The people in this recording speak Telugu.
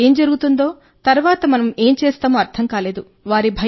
వారికి ఏం జరుగుతుందో తర్వాత మనం ఏం చేస్తామో వారికి అర్థం కాలేదు